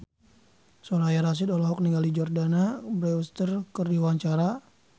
Soraya Rasyid olohok ningali Jordana Brewster keur diwawancara